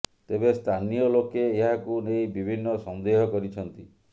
ତେବେ ସ୍ଥାନୀୟ ଲୋକେ ଏହାକୁ ନେଇ ବିଭିନ୍ନ ସନ୍ଦେହ କରିଛନ୍ତି